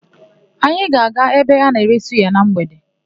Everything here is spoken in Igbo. Anyị ga-aga ebe a na-ere suya na mgbede.